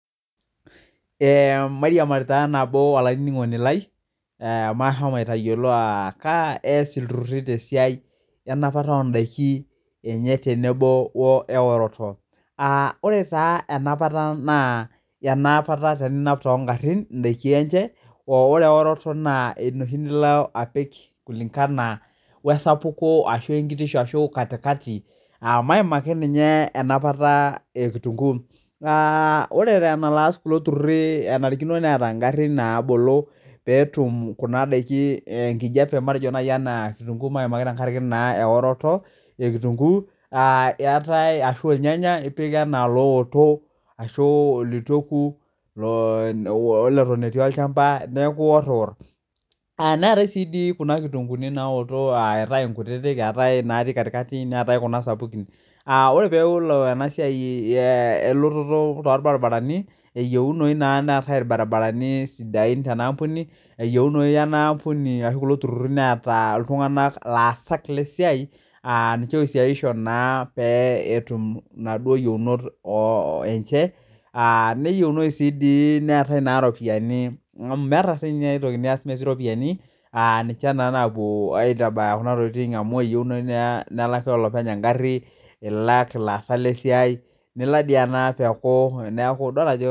Ee mairiamari nabo olainingoni lai kaiko ilturuti tenapata ondakin enye tenebo eroroto ore enapata na ena teninap tondakin endaa enye ore eoroto na enoshi niko apik kulingana wesapuko maimaki enapata ekitunguu ore enaaa kulo tururi enaare neeta ngarin nabolo kurum petum kuna dakin enkijape matejo kitunguu kiiamki tenkaraki eoroto eetae irnyanya ipik anaa looto ashu litueku ashu netok etii olchamba etii kuna kitunguuni kake nkuktitik neetae nkutiti neetae sapukin ore oelo enasua elototo orbaribarani eyieuni neetae irbaribarani tenaampuni eyieuni enaampuni peeta laasak leisia etum naduo yiounot enye neyieuni nias amy ninche napuo aitabaya kuna tokitin amu eyieuni nelaki olepeny enasia neaku idol ajo.